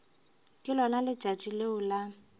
ke lona letšatši leo la